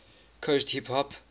coast hip hop